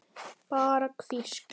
Bara hvísl.